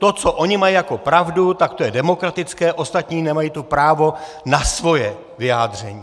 To, co oni mají jako pravdu, tak to je demokratické, ostatní nemají to právo na svoje vyjádření.